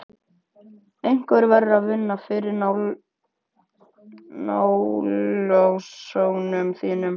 Einhver verður að vinna fyrir námslánunum þínum.